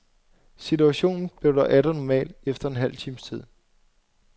Situationen blev dog atter normal efter en halv times tid.